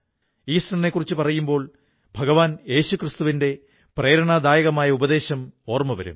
ഈസ്റ്ററിനെക്കുറിച്ചു പറയുമ്പോൾ യേശുക്രിസ്തുവിന്റെ പ്രേരണാദായകമായ ഉപദേശം ഓർമ്മ വരും